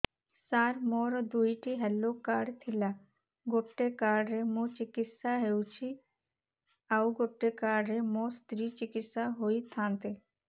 ସାର ମୋର ଦୁଇଟି health card ଥିଲା ଗୋଟେ କାର୍ଡ ରେ ମୁଁ ଚିକିତ୍ସା ହେଉଛି ଆଉ ଗୋଟେ କାର୍ଡ ରେ ମୋ ସ୍ତ୍ରୀ ଚିକିତ୍ସା ହୋଇଥାନ୍ତେ